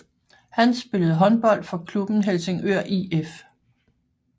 Han spillede håndbold for klubben Helsingør IF